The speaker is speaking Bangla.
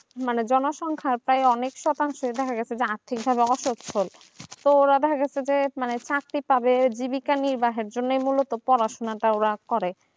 মানে জনসংখ্যা প্রায় অনেক শতাংশ দেখা যাচ্ছে আরতি ব্যবস্থা করছেন তো দেখা যাচ্ছে যে মানে শাস্তি পাবে জীবিকা নিয়ে পড়াশোনা করে